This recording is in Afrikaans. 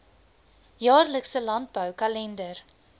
jaarlikse landbou kalender